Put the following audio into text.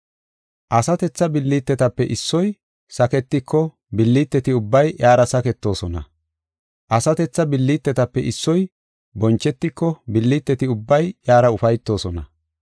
Asatetha billitetape issoy saketiko billiteti ubbay iyara saketoosona. Asatetha billitetape issoy bonchetiko billiteti ubbay iyara ufaytoosona.